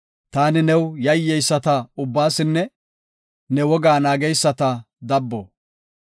Taani new yayyeyisata ubbaasinne ne wogaa naageysata dabbo.